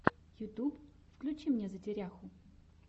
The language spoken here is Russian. ютюб включи мне затеряху